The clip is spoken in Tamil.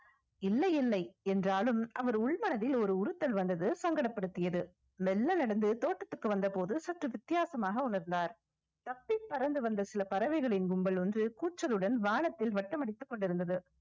இல்லை இல்லை என்றாலும் அவர் உள்மனதில் ஒரு உறுத்தல் வந்தது சங்கடப்படுத்தியது மெல்ல நடந்து தோட்டத்திற்கு வந்த போது சற்று வித்தியாசமாக உணர்ந்தார் தப்பிப் பறந்து வந்த சில பறவைகளின் கும்பல் ஒன்று கூச்சலுடன் வானத்தில் வட்டம் அடித்துக் கொண்டிருந்தது